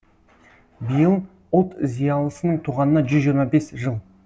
биыл ұлт зиялысының туғанына жүз жиырма бес жыл